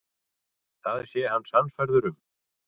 Það sé hann sannfærður um.